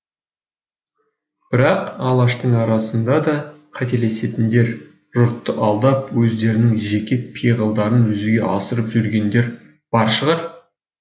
бірақ алаштың арасында да қателесетіндер жұртты алдап өздерінің жеке пиғылдарын жүзеге асырып жүргендер бар шығар